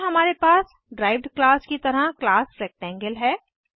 फिर हमारे पास डिराइव्ड क्लास की तरह क्लास रेक्टेंगल है